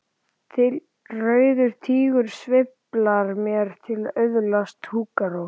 Þylja: Rauður Tígur sveiflar mér til að öðlast hugarró!